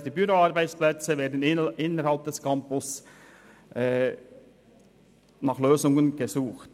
Für die Büroarbeitsplätze wird innerhalb des Campus nach Lösungen gesucht.